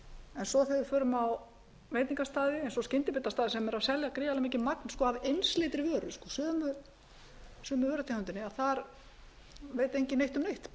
en svo þegar við förum á veitingastaði eins og skyndibitastaði sem er að selja gríðarlega mikið magn af einsleitri vöru sömu vörutegundinni þar veit enginn neitt